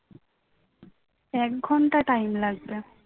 এক ঘণ্টা time লাগবে